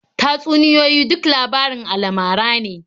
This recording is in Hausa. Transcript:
Tatsuniyoyi duk labarin alamara ne.